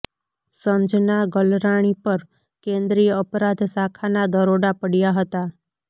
સંજના ગલરાણી પર કેન્દ્રીય અપરાધ શાખાના દરોડા પડયા હતા